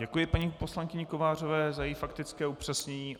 Děkuji paní poslankyni Kovářové za její faktické upřesnění.